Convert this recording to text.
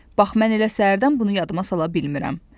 Bax mən elə səhərdən bunu yadıma sala bilmirəm.